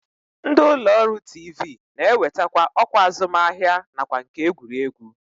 Ndị ụlọọrụ tiivii na-ewetakwa ọkwa azụmahịa nakwa nke egwuregwu